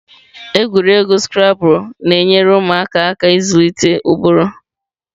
Egwuregwu Scrabble na-enyere ụmụaka aka ịzụlite ụbụrụ.